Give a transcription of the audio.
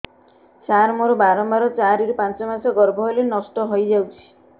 ସାର ମୋର ବାରମ୍ବାର ଚାରି ରୁ ପାଞ୍ଚ ମାସ ଗର୍ଭ ହେଲେ ନଷ୍ଟ ହଇଯାଉଛି